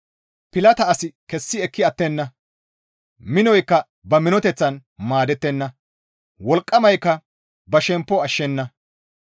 Pilata asi kessi ekki attenna; minoykka ba minoteththan maadettenna; wolqqamaykka ba shemppo ashshenna.